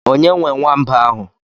Onye nwee nwamba ahụ?